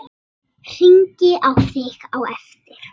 Bikar undir stétt er sú.